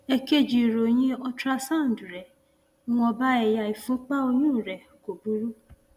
èkejì ìròyìn ultrasound rẹ ìwọnba ẹyà ìfúnpá ọyún rẹ kò burú